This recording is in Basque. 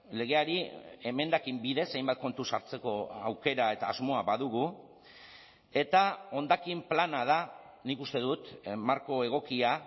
legeari emendakin bidez hainbat kontu sartzeko aukera eta asmoa badugu eta hondakin plana da nik uste dut marko egokia